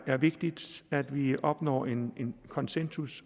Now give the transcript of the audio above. er vigtigt at vi opnår en en konsensus